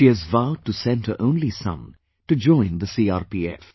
She has vowed to send her only son to join the CRPF